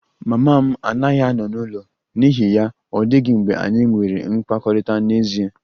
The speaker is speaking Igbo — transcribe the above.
Mama m anaghị ano n'ụlọ n'ihi ya, ọ dịghị mgbe anyị nwere mmekọrịta n'ezie